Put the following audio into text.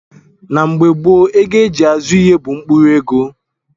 Na mgbe gboo, ego a ji azụ ihe bụ mkpụrụ ego